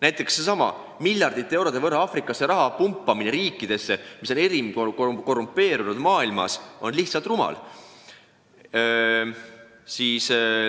Näiteks seesama miljardite eurode ulatuses raha Aafrikasse pumpamine on lihtsalt rumal, sest need riigid on ühed enim korrumpeerunud riigid maailmas.